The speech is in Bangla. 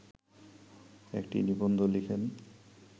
একটি নিবন্ধ লিখেন